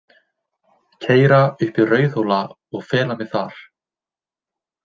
Keyra upp í Rauðhóla og fela mig þar.